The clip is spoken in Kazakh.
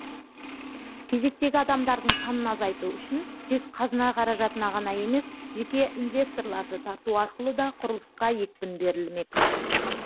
кезектегі адамдардың санын азайту үшін тек қазына қаражатына ғана емес жеке инвесторларды тарту арқылы да құрылысқа екпін берлімек